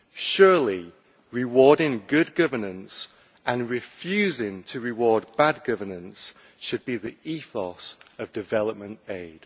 Surely, rewarding good governance and refusing to reward bad governance should be the ethos of development aid.